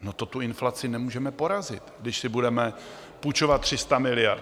No, to tu inflaci nemůžeme porazit, když si budeme půjčovat 300 miliard.